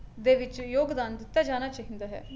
ਦੇ ਵਿਚ ਯੋਗਦਾਨ ਦਿੱਤਾ ਜਾਣਾ ਚਾਹੀਦਾ ਹੈ